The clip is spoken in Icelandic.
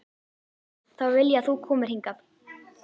Þá vil ég að þú komir hingað!